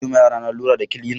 Zan siyowa yarana lura da kilina.